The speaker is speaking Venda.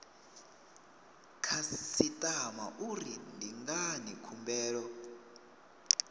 khasitama uri ndi ngani khumbelo